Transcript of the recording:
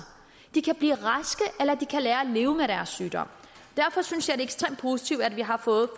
de kan blive raske eller at de kan lære at leve med deres sygdom derfor synes jeg ekstremt positivt at vi har fået